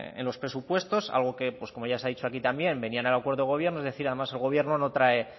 en los presupuestos algo que como se ha dicho aquí también venía en el acuerdo de gobierno es decir además el gobierno